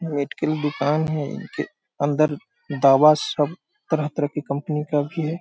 Medical दुकान है इनके अंदर दवा सब तरह-तरह की कंपनी का भी है।